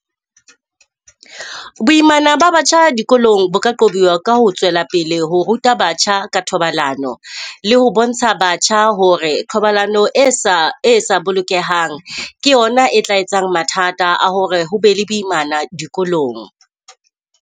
Boimana ba batjha dikolong bo ka qobiwa ka ho tswela pele ho ruta batjha ka thobalano, le ho bontsha batjha ho re thobalano e sa e sa bolokehang ke yona e tla etsang mathata a hore ho be le boimana dikolong.